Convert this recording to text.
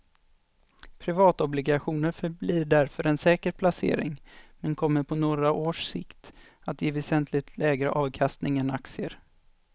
Privatobligationer förblir därför en säker placering men kommer på några års sikt att ge väsentligt lägre avkastning än aktier.